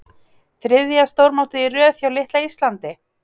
Þriðja stórmótið í röð hjá litla Íslandi?